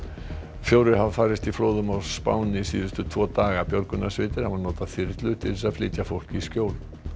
fjórir hafa farist í flóðum á Spáni síðustu tvo daga björgunarsveitir hafa notað þyrlur til þess að flytja fólk í skjól